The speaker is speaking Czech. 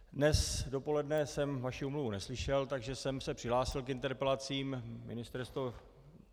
Dnes dopoledne jsem vaši omluvu neslyšel, takže jsem se přihlásil k interpelacím.